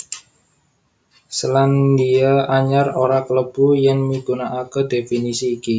Selandia Anyar ora klebu yèn migunakaké dhéfinisi iki